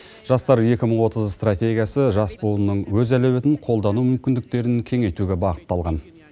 жастар екі мың отыз стратегиясы жас буынның өз әлеуетін қолдану мүмкіндіктерін кеңейтуге бағытталған